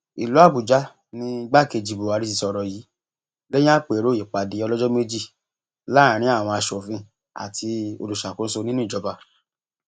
ìlú àbújá ní igbákejì buhari ti sọrọ yìí lẹyìn àpérò ìpàdé ọlọjọ méjì láàrin àwọn asòfin àti olùṣàkóso nínú ìjọba